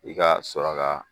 I ka sɔrɔ ka.